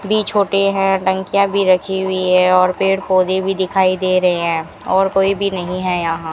भी छोटे हैं टंकियां भी रखी हुई है और पेड़ पौधे भी दिखाई दे रहे हैं और कोई भी नहीं है यहां।